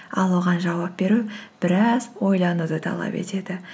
ал оған жауап беру біраз ойлануды талап етеді